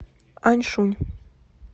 аньшунь